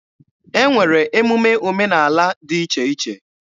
E nwere emume omenaala dị iche iche.